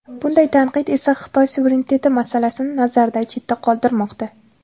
Bunday tanqid esa Xitoy suvereniteti masalasini nazardan chetda qoldirmoqda.